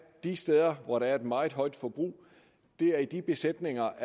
de steder hvor der er et meget højt forbrug det er i de besætninger